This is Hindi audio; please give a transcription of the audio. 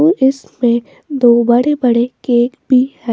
और इसमें दो बड़े-बड़े केक भी है।